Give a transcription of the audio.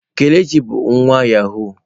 Kelechi bu nwa yahụụ.